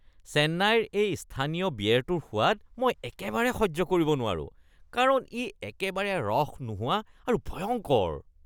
চেন্নাইৰ এই স্থানীয় বিয়েৰটোৰ সোৱাদ মই একেবাৰে সহ্য কৰিব নোৱাৰো কাৰণ ই একেবাৰে ৰস নোহোৱা আৰু ভয়ংকৰ।